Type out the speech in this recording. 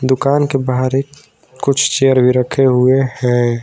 दुकान के बाहर एक कुछ चेयर भी रखे हुए हैं।